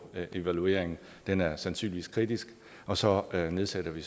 evalueringen og den er sandsynligvis kritisk og så nedsætter vi